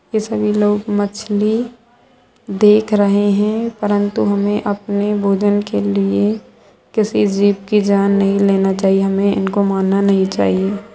ये सभी लोग मछली देख रहे हैं परन्तु हमें अपने भोजन के लिए किसी जीव की जान नहीं लेना चाहिए हमें इनको मारना नहीं चाहिए।